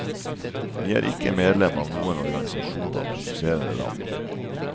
Vi er ikke medlem av noen organisasjon av produserende land.